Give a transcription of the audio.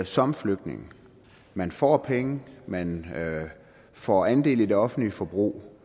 som flygtning man får penge man får andel i det offentlige forbrug